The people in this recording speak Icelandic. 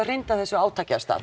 hrinda þessu átaki af stað